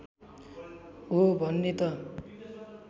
हो भन्ने त